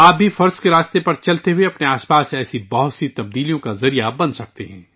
فرض کی راہ پر چلتے ہوئے آپ بھی اپنے ارد گرد ایسی بہت سی تبدیلیوں کا وسیلہ بن سکتے ہیں